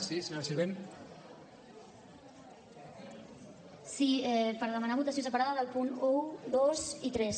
sí per demanar votació superada dels punts un dos i tres